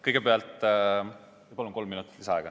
Kõigepealt ma palun kolm minutit lisaaega.